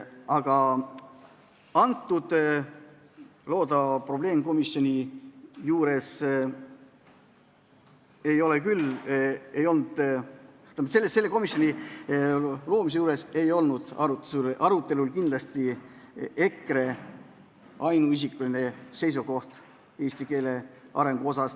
Aga loodava probleemkomisjoni juures ei olnud arutelu all kindlasti mitte ainult EKRE seisukoht eesti keele arengu suhtes.